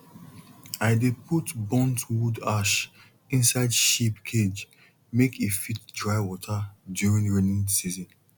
i dey put burnt wood ash inside sheep cage make e fit dry water during rainy season